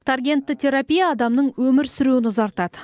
таргентті терапия адамның өмір сүруін ұзартады